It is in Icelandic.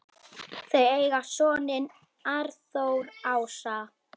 Þau eiga soninn Arnþór Ása.